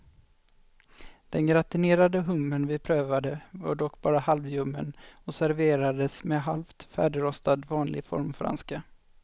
Den gratinerade hummer vi prövade var dock bara halvljummen och serverades med halvt färdigrostad vanlig formfranska.